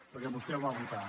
perquè vostè el va votar